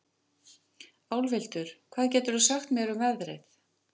Álfhildur, hvað geturðu sagt mér um veðrið?